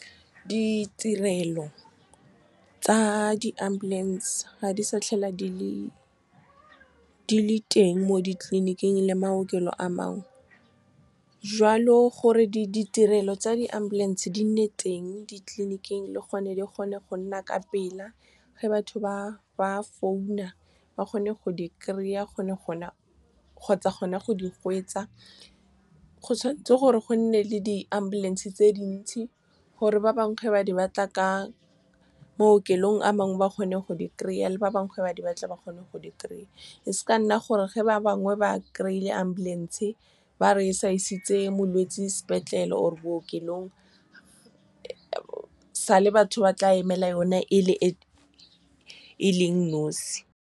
Ditirelo tsa di-ambulance ga di sa tlhole di le teng mo ditleliniking le maokelo a mangwe. Jwalo gore ditirelo tsa di-ambulance di nne teng ditleniking le gone di kgone go nna ka pela ge batho ba founa, ba kgone go di kry-a kgotsa gona go di . Go tshwanetse gore go nne le di-ambulance tse dintsi gore ba bangwe ga ba batla ka maokelong a mangwe ba kgone go di kry-a, le ba bangwe ga ba di batla ba kgone go di kry-a. E seka nna gore ge ba bangwe ba kry-ile ambulance ba re sa isitse molwetsi sepetlele or bookelong, sale batho ba tla emela yone e leng nosi. Ditirelo tsa di-ambulance ga di sa tlhole di le teng mo ditleliniking le maokelo a mangwe. Jwalo gore ditirelo tsa di-ambulance di nne teng ditleniking le gone di kgone go nna ka pela ge batho ba founa, ba kgone go di kry-a kgotsa gona go di . Go tshwanetse gore go nne le di-ambulance tse dintsi gore ba bangwe ga ba batla ka maokelong a mangwe ba kgone go di kry-a, le ba bangwe ga ba di batla ba kgone go di kry-a. E seka nna gore ge ba bangwe ba kry-ile ambulance ba re sa isitse molwetsi sepetlele or bookelong, sale batho ba tla emela yone e leng nosi.